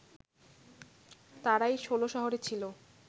তারাই ষোলশহরে ছিল